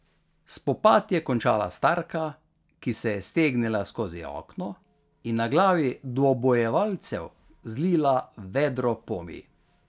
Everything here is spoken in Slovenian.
Spopad je končala starka, ki se je stegnila skozi okno in na glavi dvobojevalcev zlila vedro pomij.